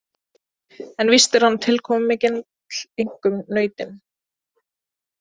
En víst er hann tilkomumikill, einkum nautin.